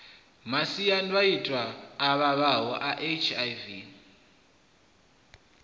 masiandoitwa a vhavhaho a hiv